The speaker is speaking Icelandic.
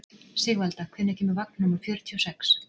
Sigvalda, hvenær kemur vagn númer fjörutíu og sex?